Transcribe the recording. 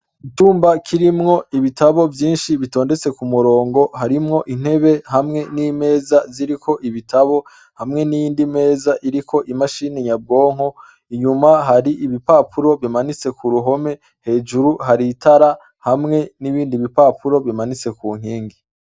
Icumba kirimwo ibitabo vyinshi bitondetse kumurongo, harimwo intebe hamwe n'imeza ziriko ibitabo ,hamwe n'iyindi meza iriko imashini nyabwonko, inyuma hari ibipapuro bimanitse kuruhome , hejuru hari itara hamwe n'ibindi bipapuro bimanitse ku nkingi.